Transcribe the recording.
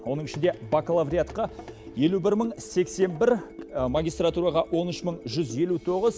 оның ішінде бакалавриатқа елу бір мың сексен бір магистратураға он үш мың жүз елу тоғыз